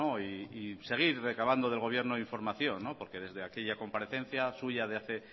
y seguir recabando del gobierno información porque desde aquella comparecencia suya de hace